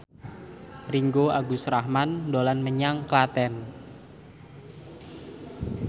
Ringgo Agus Rahman dolan menyang Klaten